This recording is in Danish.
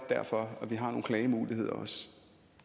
derfor vi har nogle klagemuligheder